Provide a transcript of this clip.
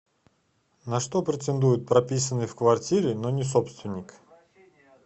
на что претендует прописанный в квартире но не собственник